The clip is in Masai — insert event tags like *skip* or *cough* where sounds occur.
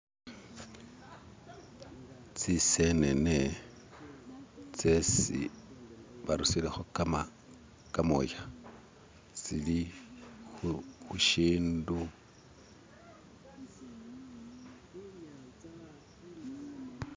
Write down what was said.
*skip* tsisenene tsesi barusireho kamoya tsili hushindu *skip*